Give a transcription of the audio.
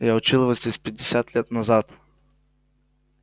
я учил его здесь пятьдесят лет назад